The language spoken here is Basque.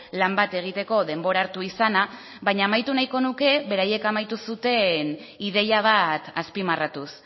lan bat egiteko denbora hartu izana baina amaitu nahi nuke beraiek amaitu zuten ideia bat azpimarratuz